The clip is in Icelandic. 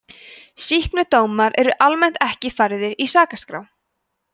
sýknudómar eru almennt ekki færðir í sakaskrá